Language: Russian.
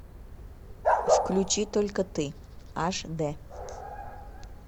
включи только ты аш дэ